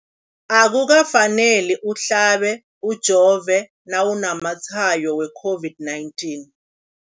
Akuka faneli uhlabe, ujove nawu namatshayo we-COVID-19.